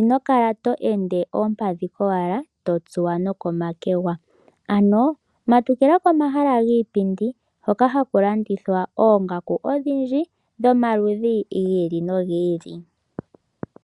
Ino kala to ende oompadhi kowala to tsuwa nokomakwega. Matukila komahala giipindi hoka haku landithwa oongaku odhindji dhomaludhi gi ili nogi ili.